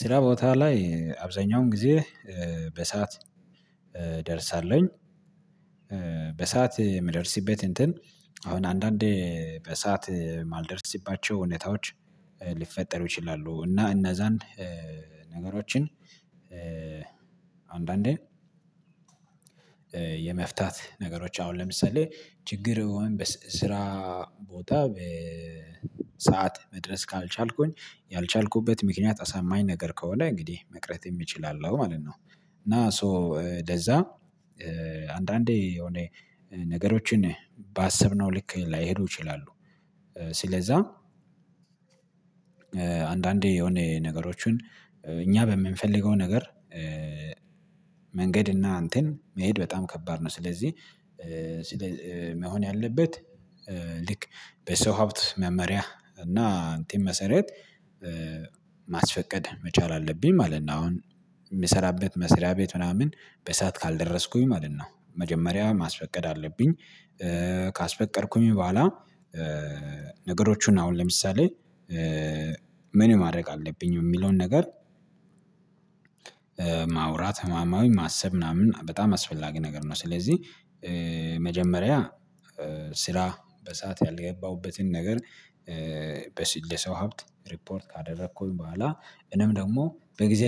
ስራ ቦታ ላይ አብዛኛውን ጊዜ በሰአት እደርሳለሁኝ። በሰአት የምደርስበት እንትን አሁን አንዳንዴ በሰአት የማልደርስባቸው ሁኔታዎች ሊፈጠሩ ይችላሉ። እና እነዛን ነገሮችን አንዳንዴ የመፍታት ነገሮች አሁን ለምሳሌ ችግር ወይም በስራ ቦታ በሰአት መድረስ ካልቻልኩኝ ያልቻልኩበት ምክንያት አሳማኝ ነገር ከሆነ እንግዲህ መቅረት እችላለሁ ማለት ነው። እና ሶ ለዛ አንዳንዴ የሆነ ነገሮችን ባሰብነው ልክ ላይሄዱ ይችላሉ። ስለዛ አንዳንዴ የሆነ ነገሮችን እኛ በምንፈልገው ነገር መንገድ እና እንትን መሄድ በጣም ከባድ ነው። ስለዚህ መሆን ያለበት ልክ በሰው ሀብት መመሪያ እና እንትን መሰረት ማስፈቀድ መቻል አለብኝ ማለት ነው። አሁን እምሰራበት መስሪያ ቤት ምናምን በሰአት ካልደረስኩኝ ማለት ነው። መጀመሪያ ማስፈቀድ አለብኝ። ካስፈቀድኩኝ በኋላ ነገሮቹን አሁን ለምሳሌ ምን ማድረግ አለብኝ እሚለውን ነገር ማውራት ህማማዊ ማሰብ ምናምን በጣም አስፈላጊ ነገር ነው። ስለዚህ መጀመሪያ ስራ በሰአት ያልገባሁበትን ነገር። ለሰው ሀብት ሪፖርት ካደረኩኝ በኋላ እኔም ደግሞ በጊዜ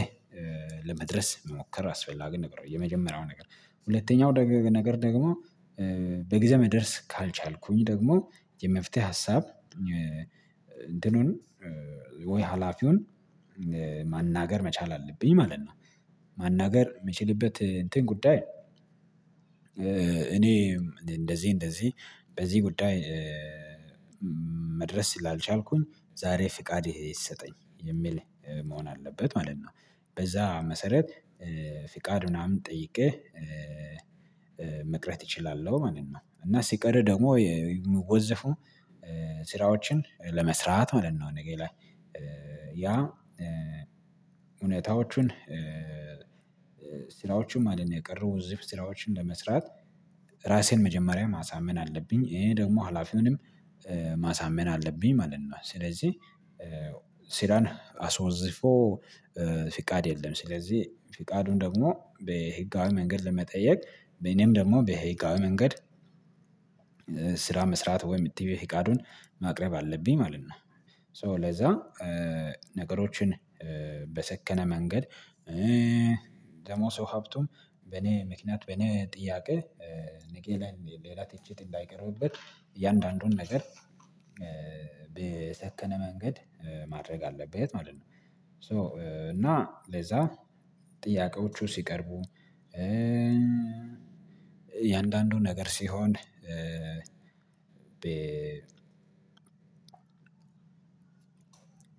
ለመድረስ መሞከር አስፈላጊ ነገር የመጀመሪያው ነገር። ሁለተኛው ደግ ነገር ደግሞ በጊዜ መድረስ ካልቻልኩኝ ደግሞ የመፍትሄ ሀሳብ እንትኑን ወይ ሀላፊውን ማናገር መቻል አለብኝ ማለት ነው። ማናገር እምችልበት እንትን ጉዳይ እኔ እንደዚህ እንደዚህ በዚህ ጉዳይ መድረስ ስላልቻልኩኝ ዛሬ ፍቃድ ይሰጠኝ የሚል መሆን አለበት ማለት ነው። በዛ መሰረት ፍቃድ ምናምን ጠይቄ መቅረት እችላለሁ ማለት ነው። እና ስቀር ደግሞ የሚወዘፉ ስራዎችን ለመስራት ማለት ነው። እኔ ላይ ያ እውነታዎቹን ስራዎቹም ማለት ነው የቀረው ዉዝፍ ስራዎችን ለመስራት ራሴን መጀመሪያ ማሳመን አለብኝ። ይሄ ደግሞ ሀላፊውንም ማሳመን አለብኝ ማለት ነው። ስለዚህ ሲራን አስወዝፎ ፍቃድ የለም። ስለዚህ ፊቃዱን ደግሞ በህጋዊ መንገድ ለመጠየቅ እኔም ደግሞ በህጋዊ መንገድ ስራ መስራት ወይም ቲቢ ፍቃዱን ማቅረብ አለብኝ ማለት ነው። ሶ ለዛ ነገሮችን በሰከነ መንገድ ደግሞ ሰው ሀብቱም በኔ ምክንያት በኔ ጥያቄ ነጌ ላይ ሌላ ትችት እንዳይቀርብበት እያንዳንዱን ነገር በሰከነ መንገድ ማድረግ አለበት ማለት ነው። ሶ እና ለዛ ጥያቄዎቹ ሲቀርቡ እያንዳንዱ ነገር ሲሆን።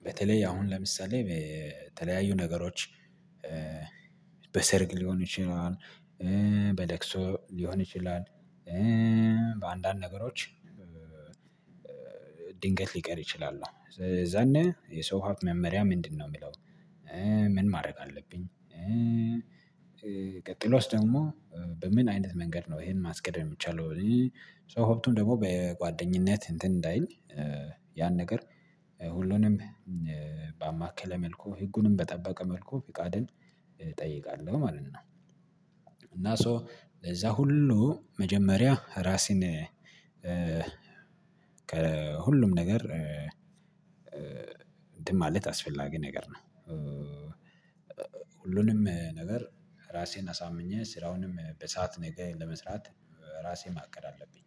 በተለይ አሁን ለምሳሌ በተለያዩ ነገሮች በሰርግ ሊሆን ይችላል። በለቅሶ ሊሆን ይችላል። በአንዳንድ ነገሮች ድንገት ልቀር እችላሉ የዛኔ የሰው ሀብት መመሪያ ምንድነው? እሚለው ምን ማድረግ አለብኝ? ቀጥሎስ ደግሞ በምን አይነት መንገድ ነው ይሄን ማስኬድ የሚቻለው? ሶ ሀብቱም ደግሞ በጓደኝነት እንትን እንዳይል ያን ነገር ሁሉንም በአማከለ መልኩ ህጉንም በጠበቀ መልኩ ፊቃድን እጠይቃለሁ ማለት ነው። እና ሶ ለዛ ሁሉ መጀመሪያ ራሴን ከሁሉም ነገር እንትን ማለት አስፈላጊ ነገር ነው። ሁሉንም ነገር ራሴን አሳምኜ ስራውንም በሰአት ነገ ለመስራት ራሴ ማቀድ አለብኝ